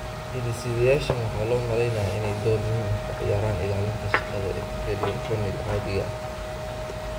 Hidde-sidayaashan waxaa loo maleynayaa inay door muhiim ah ka ciyaaraan ilaalinta shaqada epithelial corneal caadiga ah.